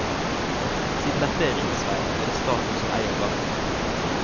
Siden dette er riksvei, er det staten som eier gaten.